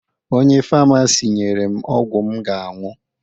Onye famasi nyere m ọgwụ m ga-aṅụ